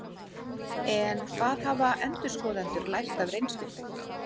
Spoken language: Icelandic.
En hvað hafa endurskoðendur lært af reynslunni?